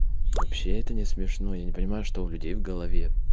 вообще это не смешно и не понимаю что у людей в голове